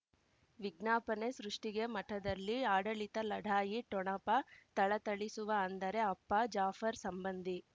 ವಿಜ್ಞಾಪನೆ ಸೃಷ್ಟಿಗೆ ಮಠದಲ್ಲಿ ಆಡಳಿತ ಲಢಾಯಿ ಠೊಣಪ ಥಳಥಳಿಸುವ ಅಂದರೆ ಅಪ್ಪ ಜಾಫರ್ ಸಂಬಂಧಿ